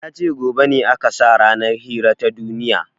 Yace gobe ne aka sa ranar hira ta duniya